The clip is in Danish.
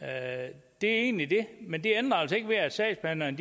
er egentlig det men det ændrer altså ikke ved at sagsbehandlerne